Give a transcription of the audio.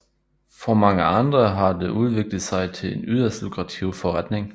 For mange andre har det udviklet sig til en yderst lukrativ forretning